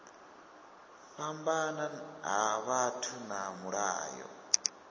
fhambana ha vhathu na mulayo